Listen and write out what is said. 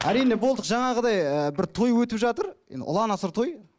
әрине болдық жаңағыдай ыыы бір той өтіп жатыр енді ұлан асыр той